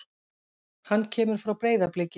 Hann kemur frá Breiðabliki.